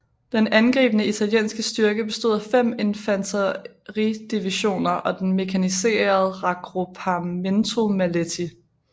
Den angribende italienske styrke bestod af fem infanteridivisioner og den mekaniserede Raggruppamento Maletti